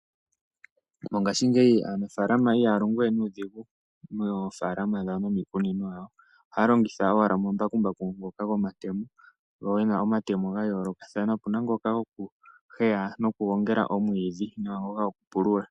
Mongashingeyi aanafaalama ihaya longo we nuudhigu moofalama dhawo nomiikunino yawo. Ohaya longitha owala omambakumbaku ngoka gomayemo, ngo gena omatemo ga yoolokathana. Opuna ngoka gokuhweya nokugongela omwiidhi nanga gokupulula.